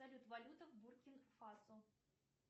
валюта в буркино фасо